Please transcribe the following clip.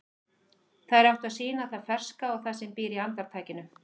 Þær áttu að sýna það ferska og það sem býr í andartakinu.